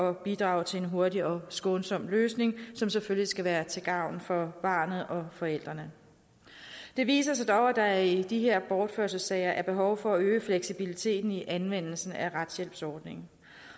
at bidrage til en hurtig og skånsom løsning som selvfølgelig skal være til gavn for barnet og forældrene det viser sig dog at der i de her bortførelsessager er behov for at øge fleksibiliteten i anvendelsen af retshjælpsordningen